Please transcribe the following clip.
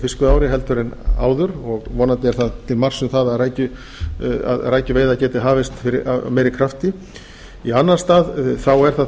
fiskveiðiári en áður og vonandi er það til marks um að rækjuveiðar geti hafist af meiri krafti í annan stað er það